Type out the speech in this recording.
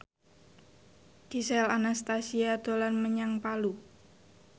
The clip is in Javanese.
Gisel Anastasia dolan menyang Palu